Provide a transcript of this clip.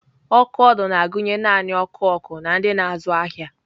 Ọkụ ọdụ na-agụnye naanị ọkụ ọkụ na ndị na-azụ ahịa.